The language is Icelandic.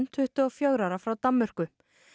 tuttugu og fjögurra ára frá Danmörku